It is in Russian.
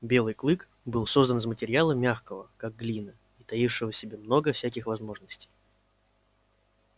белый клык был создан из материала мягкого как глина и таившего в себе много всяких возможностей